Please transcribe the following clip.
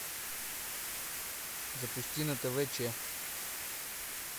запусти на тв че